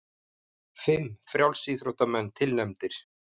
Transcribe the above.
Fimm frjálsíþróttamenn tilnefndir